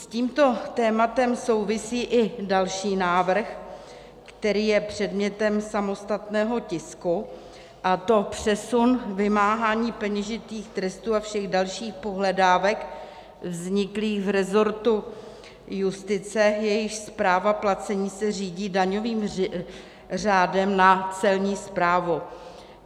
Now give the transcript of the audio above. S tímto tématem souvisí i další návrh, který je předmětem samostatného tisku, a to přesun vymáhání peněžitých trestů a všech dalších pohledávek vzniklých v resortu justice, jejichž správa placení se řídí daňovým řádem, na Celní správu.